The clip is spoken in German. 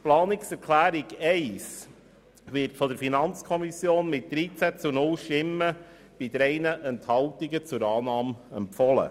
Die Planungserklärung 1 wird von der FiKo mit 13 zu 0 Stimmen bei 3 Enthaltungen zur Annahme empfohlen.